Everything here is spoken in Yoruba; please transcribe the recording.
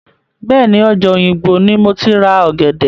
Bẹ́ẹ̀ni, ọjà òyìngbò ni moti ra ọ̀gẹ̀dẹ̀.